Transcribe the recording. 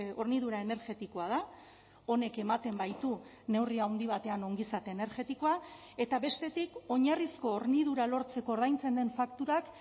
hornidura energetikoa da honek ematen baitu neurri handi batean ongizate energetikoa eta bestetik oinarrizko hornidura lortzeko ordaintzen den fakturak